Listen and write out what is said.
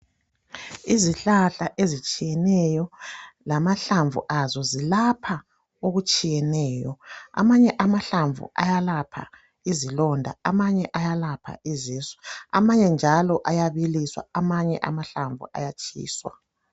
Izihlahla ezitshiyeneyo lamahlamvu azo zilapha okutshiyeneyo amanye amahlamvu ayalapha izilonda amanye ayalapha izisu amanye njalo ayabiliswa amanye amahlamvu ayatshiswa.